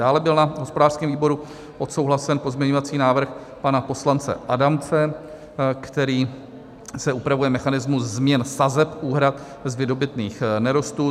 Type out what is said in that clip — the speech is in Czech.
Dále byl na hospodářském výboru odsouhlasen pozměňovací návrh pana poslance Adamce, kterým se upravuje mechanismus změn sazeb úhrad z vydobytých nerostů.